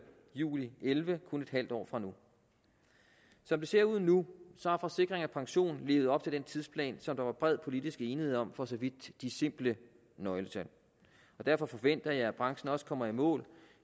juli elleve kun et halvt år fra nu som det ser ud nu har forsikring pension levet op til den tidsplan som der var bred politisk enighed om for så vidt de simple nøgletal derfor forventer jeg at branchen også kommer i mål